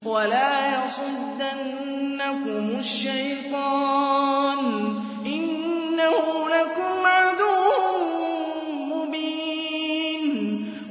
وَلَا يَصُدَّنَّكُمُ الشَّيْطَانُ ۖ إِنَّهُ لَكُمْ عَدُوٌّ مُّبِينٌ